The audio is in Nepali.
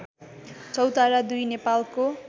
चौतारा २ नेपालको